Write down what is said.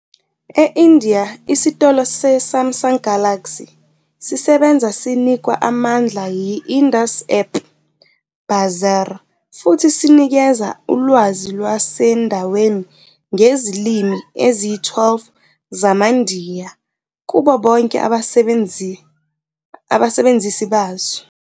E-India, isitolo se-Samsung Galaxy sisebenza sinikwa amandla yi-Indus App Bazaar futhi sinikeza ulwazi lwasendaweni ngezilimi eziyi-12 zamaNdiya kubo bonke abasebenzisi bazo.